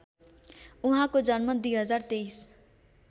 उहाँको जन्म २०२३